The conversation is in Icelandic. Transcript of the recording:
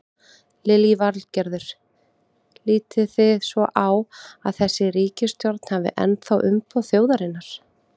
Lillý Valgerður: Lítið þið svo á að þessi ríkisstjórn hafi ennþá umboð þjóðarinnar?